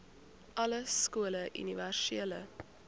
alle skole universele